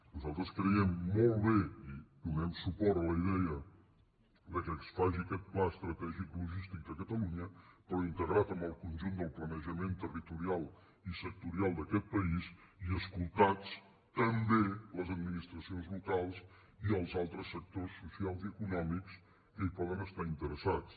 nosaltres creiem molt bé i donem suport a la idea que es faci aquest pla estratègic logístic de catalunya però integrat en el conjunt del planejament territorial i sectorial d’aquest país i escoltats també les administracions locals i els altres sectors socials i econòmics que hi poden estar interessats